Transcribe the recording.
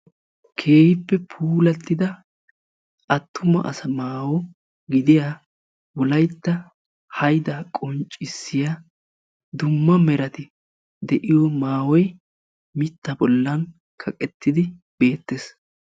Keehippe puulattida attuma asa maayo gidiya wolaytta haydaa qonccissiya dumma merati de'iyo maayoy mitta bollan kaqettidi beettees.